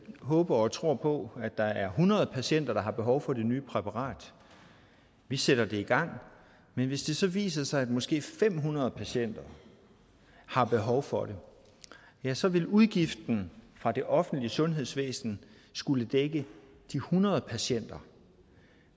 håber og tror på at der er hundrede patienter der har behov for det nye præparat vi sætter det i gang men hvis det så viser sig at måske fem hundrede patienter har behov for det ja så vil udgiften fra det offentlige sundhedsvæsen skulle dække de hundrede patienter